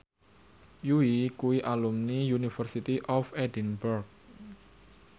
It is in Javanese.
Yui kuwi alumni University of Edinburgh